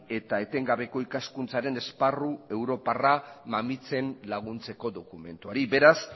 eta etengabeko ikaskuntzaren esparru europarra mamitzen laguntzeko dokumentuari beraz